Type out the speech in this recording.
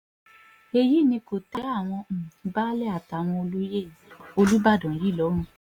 èyí ni kò tẹ́ àwọn um baálé àtàwọn olóyè olùbàdàn yìí lọ́rùn um